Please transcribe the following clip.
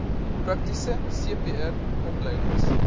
praktiese cpr opleiding